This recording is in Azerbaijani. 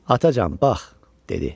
Atacan, bax, dedi.